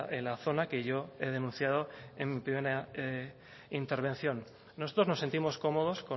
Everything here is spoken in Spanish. en la zona que yo he denunciado en mi primera intervención nosotros nos sentimos cómodos